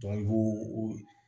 i b'o